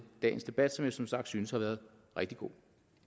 dagens debat som jeg som sagt synes har været rigtig god